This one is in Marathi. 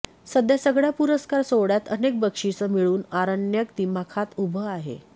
सध्या सगळय़ा पुरस्कार सोहळय़ात अनेक बक्षिसं मिळवून आरण्यक दिमाखात उभं आहे